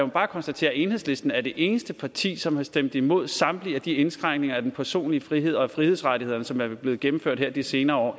bare konstatere at enhedslisten er det eneste parti som har stemt imod samtlige af de indskrænkninger af den personlige frihed og af frihedsrettighederne som er blevet gennemført her de senere år